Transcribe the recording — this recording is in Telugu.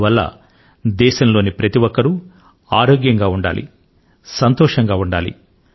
అందువల్ల దేశంలోని ప్రతి ఒక్కరూ ఆరోగ్యం గా ఉండాలి సంతోషం గా ఉండాలి